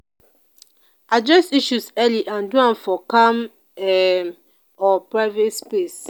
address issues early and do am for calm um or private space